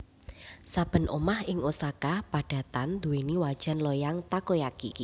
Saben omah ing Osaka padatan duweni wajan loyang takoyaki